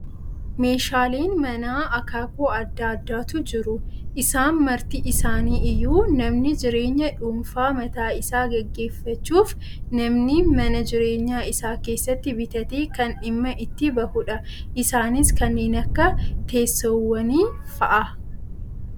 Meeshaaleen manaa, akaakuu addaa addaatu jiru. Isaan marti isaanii iyyuu namni jireenya dhuunfaa mataa isaa gaggeeffachuuf namni mana jireenyaa isaa keessatti bitatee kan dhimma itti bahudha. Isaanis kanneen akka teessoowwanii fa'aa.